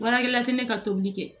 Baarakɛla tɛ ne ka tobili kɛ